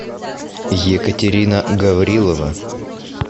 екатерина гаврилова